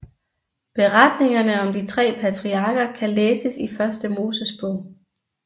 Beretningerne om de tre patriarker kan læses i Første Mosebog